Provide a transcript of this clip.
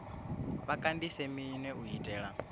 vha kandise minwe u itela